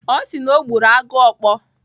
Ọ sị na ọ gburu agụokpu.